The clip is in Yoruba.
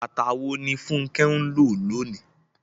Bàtà wo ni Funke ń lò lónìí?